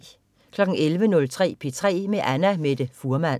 11.30 P3 med Annamette Fuhrmann